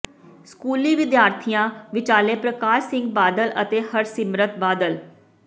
ਸਕੂਲੀ ਵਿਦਿਆਰਥੀਆਂ ਵਿਚਾਲੇ ਪ੍ਰਕਾਸ਼ ਸਿੰਘ ਬਾਦਲ ਅਤੇ ਹਰਸਿਮਰਤ ਬਾਦਲ